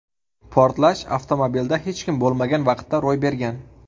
Portlash avtomobilda hech kim bo‘lmagan vaqtda ro‘y bergan.